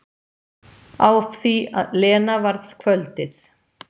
Af því Lena varð kvöldið.